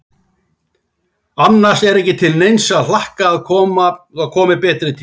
Annars er ekki til neins að hlakka að komi betri tíð.